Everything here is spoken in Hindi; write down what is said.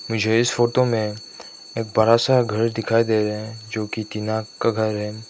मुझे इस फोटो में एक बड़ा सा घर दिखाई दे रहा हैं जो कि टीना का घर है।